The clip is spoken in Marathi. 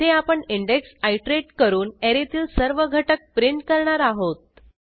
येथे आपण इंडेक्स आयटरेट करून ऍरेतील सर्व घटक प्रिंट करणार आहोत